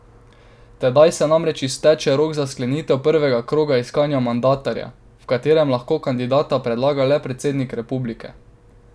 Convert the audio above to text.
Tedaj se namreč izteče rok za sklenitev prvega kroga iskanja mandatarja, v katerem lahko kandidata predlaga le predsednik republike.